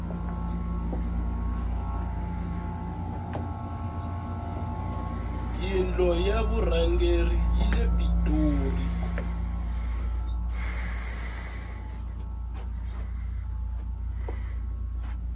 yindlo ya vurhangeri yile pitoli